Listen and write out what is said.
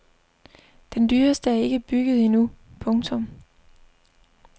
Den dyreste er ikke bygget endnu. punktum